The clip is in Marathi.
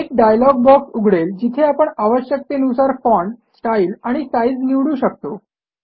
एक डायलॉग बॉक्स उघडेल जिथे आपण आवश्यकतेनुसार फाँट स्टाईल आणि साईज निवडू शकतो